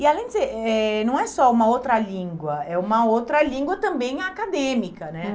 E além de ser, eh não é só uma outra língua, é uma outra língua também acadêmica, né? Hum.